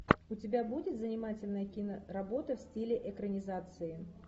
у тебя будет занимательная киноработа в стиле экранизации